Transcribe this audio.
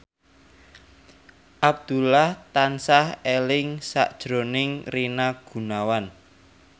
Abdullah tansah eling sakjroning Rina Gunawan